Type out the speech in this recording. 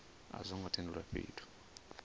a zwo ngo tendelwa fhethu